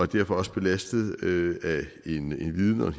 derfor også belastet af en viden og